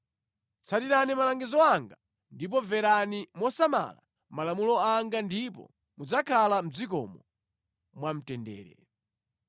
“ ‘Tsatirani malangizo anga ndipo mverani mosamala malamulo anga ndipo mudzakhala mʼdzikomo mwamtendere.